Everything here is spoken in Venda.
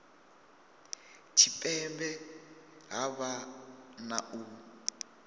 tshipembe ha vha na u